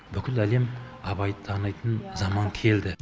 бүкіл әлем абайды танитын заман келді